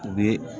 U bɛ